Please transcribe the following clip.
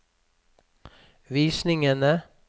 visningene